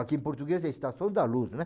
Aqui em português é estação da luz, né?